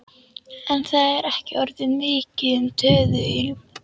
En það er ekki orðið mikið um töðuilm.